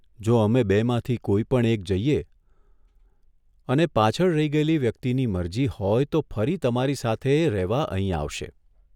જો અમે બેમાંથી કોઈપણ એક જઈએ અને પાછળ રહી ગયેલી વ્યક્તિની મરજી હોય તો ફરી તમારી સાથે રહેવા અહીં આવશે.